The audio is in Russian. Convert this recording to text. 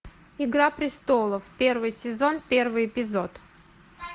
игра престолов первый сезон первый эпизод